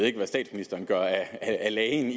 ikke hvad statsministeren gør af lagen